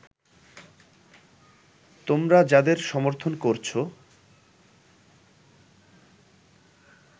তোমারা যাদের সমর্থন করছো